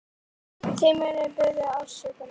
Þið munuð bíða ósigur.